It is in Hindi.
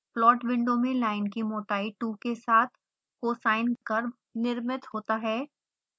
प्लॉट विंडो में लाइन की मोटाई 2 के साथ cosine curve निर्मित होता है